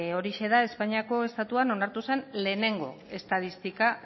horixe da espainiako estatuan onartu zen lehenengo estatistika